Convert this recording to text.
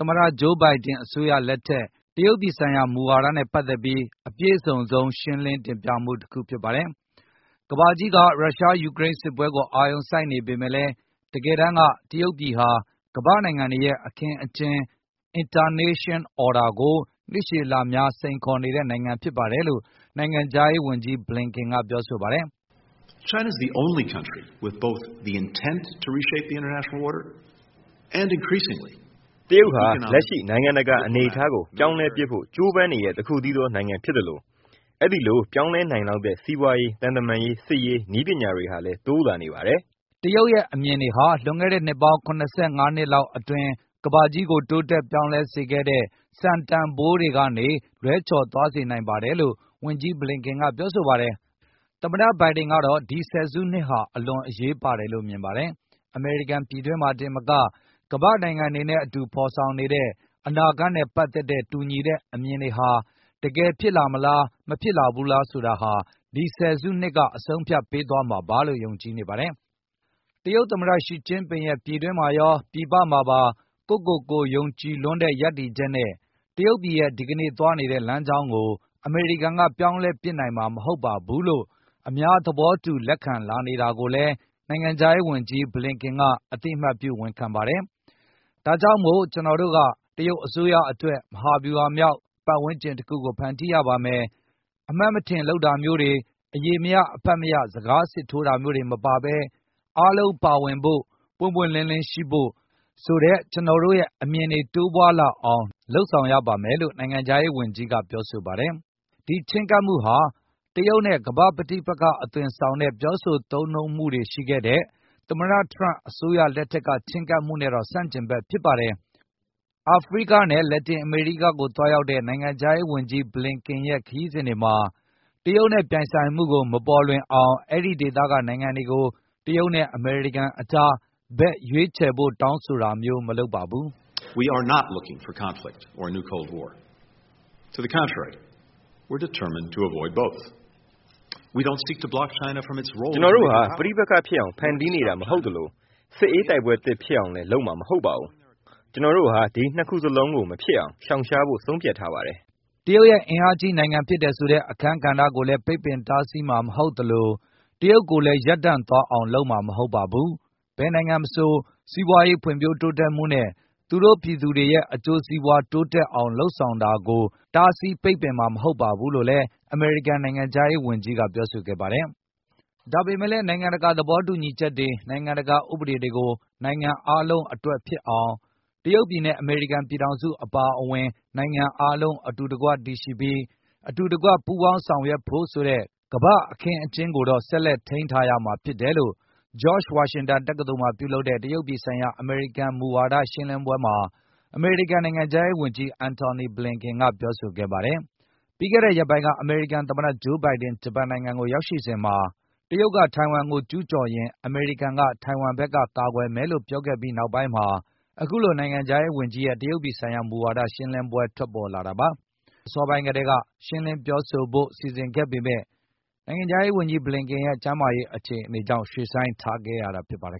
သမတ ဂျိုးဘိုင်ဒင် အစိုးရလက်ထက် အပြည့်စုံဆုံ းမူဝါဒရှင်းလင်းမှု တခုဖြစ်ပါတယ်။ ကမ္ဘာကြီးက ရုရှား-ယူကရိန်းစစ်ပွဲကို အာရုံစိုက်နေပေမယ့်လည်း တကယ်တမ်းက တရုတ်ပြည်ဟာကမ္ဘာနိုင်ငံတွေရဲ့ အခင်းအကျင်း Internation Order ကို နှစ်ရှည်လများ စိန်ခေါ်နေတဲ့နိုင်ငံ ဖြစ်ပါတယ်လို့ နိုင်ငံခြားရေးဝန်ကြီး Blinken ကပြောဆိုပါတယ်။ “တရုတ်ဟာ လက်ရှိနိုင်ငံတကာ အနေအထားကို ပြောင်းလဲပစ်ဖို့ ကြိုးပမ်းနေတဲ့တခုတည်းသော နိုင်ငံဖြစ်သလို၊ အဲဒိလိုပြောင်းလဲနိုင်လောက်တဲ့ စီးပွားရေး၊ သံတမန်ရေး၊ စစ်ရေး၊ နည်းပညာ တွေဟာလည်းတိုးလာနေပါတယ်။” တရုတ်ရဲ့အမြင်တွေဟာ လွန်ခဲ့တဲ့နှစ်ပေါင်း ၇၅ နှစ်လောက် ကမ္ဘာကြီးကိုတိုးတက် ပြောင်းလဲစေခဲ့တဲ့ စံတန်ဘိုးတွေကနေ လွဲချော်သွားစေနိုင်ပါတယ်လို့လည်း ဝန်ကြီး Blinken ကပြောဆိုပါတယ်။ သမ္မတဘိုင်ဒင်ကတော့ ဒီဆယ်စုနှစ်ဟာ အလွန်အရေးပါတယ် လို့မြင်ပါတယ်။ အမေရိကန်ပြည်တွင်းမှာတင်သာမက ကမ္ဘာ့နိုင်ငံတွေနဲ့ အတူဖေါ်ဆောင်နေတဲ့ အနာဂတ်နဲ့ ပတ်သက်တဲ့ တူညီတဲ့အမြင်တွေဟာ တကယ်ဖြစ်လာမလားမလာ ဘူးလားဆိုတာ ဒီဆယ်စုနှစ်ကအဆုံးအဖြတ်ပေးသွားမှာလို့ ယုံကြည်နေပါတယ်။ တရုတ်သမတ ရှီကျင်းပင်ရဲ့ ပြည်တွင်းမှာရော၊ ပြည်ပမှာပါ ကိုယ့်ကိုယ်ကိုယုံကြည်လွန်းတဲ့ ရပ်တည်ချက်နဲ့ တရုတ်ပြည်ရဲ့ ဒီကနေ့သွားနေတဲ့လမ်းကြောင်းကို အမေရိကန်က ပြောင်းလဲပစ်နိုင်မှာ မဟုတ်ပါဘူးလို့ အများသဘောတူ လက်ခံလာနေတာကိုလည်း နိုင်ငံခြားရေးဝန်ကြီး Blinken ကအသိအမှတ်ပြုဝန်ခံပါတယ်။ ဒါကြောင့်မို့ ကျနော်တို့က တရုတ်အစိုးရအတွက် မဟာဗျူဟာမြောက် ပတ်ဝန်းကျင်တခုကို ဖန်တီးရပါမယ်၊ အမှတ်မထင်လုပ်တာမျိုးတွေ၊ အရေမရ အဖတ်မရ စကားစစ်ထိုးတာတွေ မပါဘဲ၊ အားလုံးပါဝင်ဖို့၊ ပွင့်ပွင့်လင်းလင်းရှိဖို့ ဆိုတဲ့ ကျနော်တို့ရဲ့အမြင်တွေ တိုးပွားလာ အောင်လုပ်ဆောင်ရပါမယ်လို့ နိုင်ငံခြားရေးဝန်ကြီးကပြောပါတယ်။ ဒီချဉ်းကပ်မှုဟာ တရုတ်နဲ့ ကမ္ဘာ့ပဋိပက္ခအသွင်ဆောင်တဲ့ ပြောဆိုသုံးနှုန်းမှုတွေရှိခဲ့တဲ့ သမတထရန့်အစိုးရရဲ့ ချဉ်းကပ်မှုနဲ့တော့ ဆန့်ကျင်ဘက်ဖြစ်ပါတယ်။ အာဖရိကနဲ့ လက်တင်အမေရိကကို သွားရောက်တဲ့ နိုင်ငံခြားရေးဝန်ကြီး Blinken ရဲ့ ခရီးစဉ်တွေမှာ တရုတ်နဲ့ ပြိုင်ဆိုင်မှုကိုမပေါ်လွင်အောင် အဲဒီဒေသက နိုင်ငံတွေကို တရုတ်နဲ့ အမေရိကန်အကြား ဘက်ရွေးချယ်ဖို့ တောင်းဆိုတာမျိုးမလုပ်ပါဘူး။ “ ကျနော်တို့ဟာ ပဋိပက္ခဖြစ်အောင် ဖန်တီးနေတာမဟုတ်သလို၊ စစ်အေးတိုက်ပွဲသစ်ဖြစ်အောင်လည်း လုပ်မှာမဟုတ်ပါဘူး။ ကျနော်တို့ဟာ ဒီနှစ်ခုစလုံးကို မဖြစ်အောင်ရှောင်ရှားဖို့ ဆုံးဖြတ်ထားပါတယ်။ ” တရုတ်ရဲ့အင်အားကြီးနိုင်ငံဖြစ်တယ်ဆိုတဲ့ အခန်းကဏ္ဍကိုလည်း ပိတ်ပင်တားဆီးမှ ာမဟုတ်သလို၊ တရုတ်ကိုလည်း ရပ်တန့်သွားအောင် လုပ်မှာမဟုတ်ပါဘူး၊ ဘယ်နိုင်ငံမဆို၊ စီးပွားရေး ဖွံဖြိုးတိုးတက်မှုနဲ့ သူတို့ရဲ့ ပြည်သူတွေရဲ့ အကျိုးစီးပွားတိုးတက်လာအောင် လုပ်ဆောင်တာကို တားဆီးပိတ်ပင်မှာ မဟုတ်ပါဘူးလို့လည်း အမေရိကန်နိုင်ငံခြားရေးဝန်ကြီးက ပြောဆိုခဲ့ပါတယ်။ ဒါပေမယ့်လည်း နိုင်ငံတကာသဘောတူညီချက်တွေ၊ နိုင်ငံတကာဥပဒေတွေကို နိုင်ငံအားလုံးအတွက်ဖြစ်အောင်၊ တရုတ်ပြည်နဲ့ အမေရိကန်ပြည်ထောင်စုအပါအဝင်၊ နိုင်ငံအားလုံး အတူတကွတည်ရှိပြီး၊ အတူတကွ ပူးပေါင်းဆောင်ရွက်ဖို့ ဆိုတဲ့ကမ္ဘာအခင်းအကျင်းကိုတော့ ဆက်ထိန်းထားရမှာ ဖြစ်တယ်လို့ George Washington တက္ကသိုလ်မှာ ပြုလုပ်တဲ့ တရုတ်ပြည်ဆိုင်ရာ အမေရိကန်မူဝါဒရှင်းလင်းပွဲမှာ အမေရိကန်နိုင်ငံခြားရေးဝန်ကြီး Antony Blinken ကပြောဆိုခဲ့ပါတယ်။ ပြီးခဲ့တဲ့ရက်ပိုင်းက အမေရိကန်သမတ ဂျိုးဘိုင်ဒင် ဂျပန်နိုင်ငံမှာရောက်ရှိစဉ်က တရုတ် က ထိုင်ဝမ်ကို ကျူးကျော်ရင် အမေရိကန်က ထိုင်ဝမ်ဘက်ကာကွယ်မယ်လို့ ပြောခဲ့ပြီး နောက်ပိုင်းမှာ အခုလိုနိုင်ငံခြားရေးဝန်ကြီးရဲ့ တရုတ်ပြည်ဆိုင်ရာ မူဝါဒရှင်းလင်းပွဲထွက် ပေါ်လာတာပါ။ ပြီးခဲ့တဲ့အစောပိုင်းကတည်း ရှင်းလင်းပြောဆိုဖို့ စီစဉ်ခဲ့ပေမယ့် ကျန်းမာရေး အခြေအနေကြောင့် ရွှေ့ဆိုင်းခဲ့ရတာဖြစ်ပါတယ်